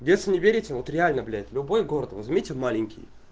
если не верите вот реально блять любой город возьмите маленький